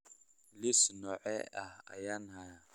liis noocee ah ayaan hayaa